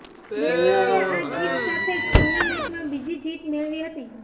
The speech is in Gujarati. બેંગ્લોરે આ જીત સાથે જ ટુર્નામેન્ટમાં બીજી જીત મેળવી હતી